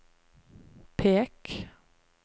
pek